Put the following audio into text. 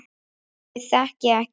Ég þekki ekki annað.